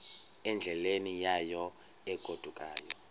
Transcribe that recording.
endleleni yayo egodukayo